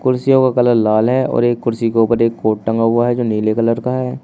कुर्सियों का कलर लाल है और एक कुर्सी के ऊपर एक कोट टंगा हुआ है जो नीले कलर का है।